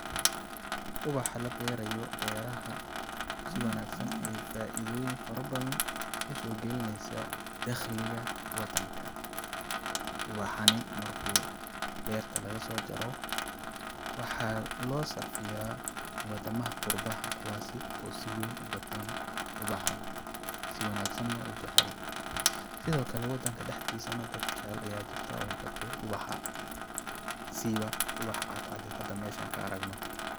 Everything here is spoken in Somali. Ubaxa la berayo beeraha si wanaagsan ayeey faaidooyin fara badan usoo galineysaa dakhliga wadanka ,ubaxani markuu beerta lagasoo jaro waxaa loo sarfiyaa wadamaha qurbaha kuwaasi oo si weyn u gataan ubaxan si wanaagsan na u jacel ,sidoo kale wadanka dhaxdiisa dad jacel ayaa jiraan oo gato ubaxa siiba ubaxa cadcad oo hada meesha ka aragno.